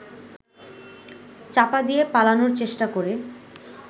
চাপা দিয়ে পালানোর চেষ্টা করে